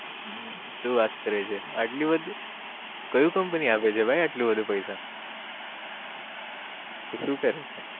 હમ શું વાત કરે છે આટલું બધું કયું company આપે છે ભાઈ આટલું બધું પૈસા તુ સુ કરે છે